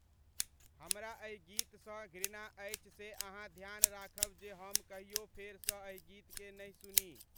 हमरा एहि गीतसँ घृणा अछि से अहाँ ध्यान राखब जे हम कहियो फेरसँ एहि गीतकेँ नहि सुनी।